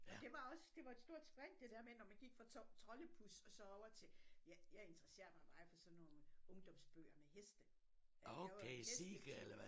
Det var også det var et stort spring det dér med når man gik fra troldepus og så over til jeg interesserer mig meget for sådan nogle ungdomsbøger med heste ja jeg var jo hestepige